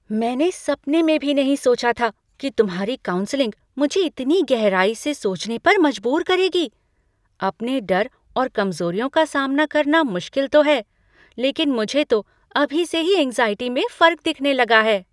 मैंने सपने में भी नहीं सोचा था कि तुम्हारी काउंसलिंग मुझे इतनी गहराई से सोचने पर मजबूर करेगी! अपने डर और कमज़ोरियों का सामना करना मुश्किल तो है, लेकिन मुझे तो अभी से ही एंग्ज़ाइटी में फ़र्क दिखने लगा है।